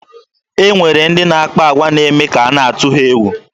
E nwere ndị na-akpa agwa na-eme ka a na-atụ ha egwu.